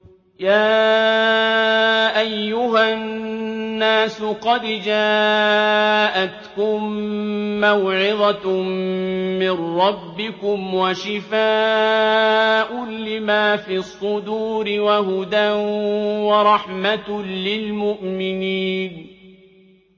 يَا أَيُّهَا النَّاسُ قَدْ جَاءَتْكُم مَّوْعِظَةٌ مِّن رَّبِّكُمْ وَشِفَاءٌ لِّمَا فِي الصُّدُورِ وَهُدًى وَرَحْمَةٌ لِّلْمُؤْمِنِينَ